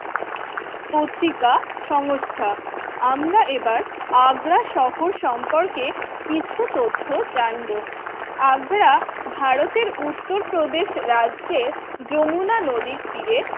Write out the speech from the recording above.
পত্রিকা সংস্থা আমরা এবার আগ্রা শহর সম্পর্কে কিছু তথ্য জানবো, আগ্রা ভারতের উত্তরপ্রদেশ রাজ্যের যমুনা নদীর তীরে